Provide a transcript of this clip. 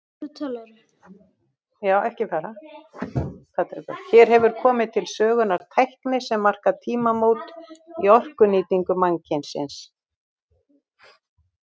Hér hefur komið til sögunnar tækni sem markar tímamót í orkunýtingu mannkynsins.